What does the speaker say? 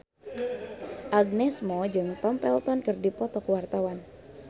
Agnes Mo jeung Tom Felton keur dipoto ku wartawan